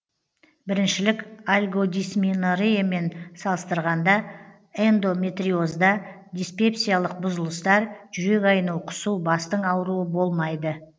біріншілік альгодисменореямен салыстырғанда эндометриозда диспепсиялық бұзылыстар жүрек айну құсу бастың ауруы болмайды